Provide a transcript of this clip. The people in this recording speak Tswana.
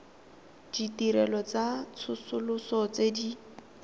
ditirelo tsa tsosoloso tse di